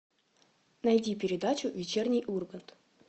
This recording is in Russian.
найди передачу вечерний ургант